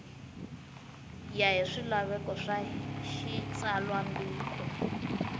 ya hi swilaveko swa xitsalwambiko